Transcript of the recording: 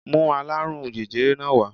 Mú aláàrùn jẹjẹrẹ náà wá